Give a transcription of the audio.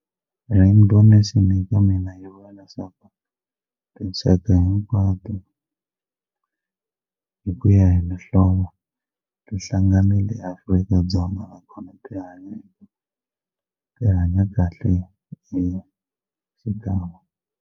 Rainbow nation eka mina yi vula leswaku tinxaka hinkwato hi ku ya hi mihlovo tihlanganile eAfrika-Dzonga bya tihanya kahle hi xikan'we.